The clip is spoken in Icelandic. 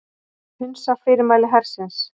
Hunsa fyrirmæli hersins